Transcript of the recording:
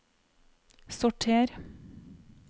sorter